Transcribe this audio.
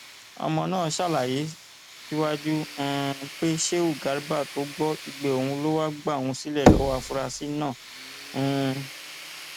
ọmọ náà ṣàlàyé síwájú um pé sheu garba tó gbọ igbe òun ló wáá gba òun sílẹ lọwọ àfúrásì náà um